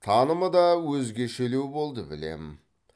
танымы да өзгешелеу болды білем